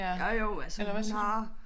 Jo jo altså hun har